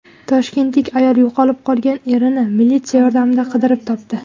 Toshkentlik ayol yo‘qolib qolgan erini militsiya yordamida qidirib topdi.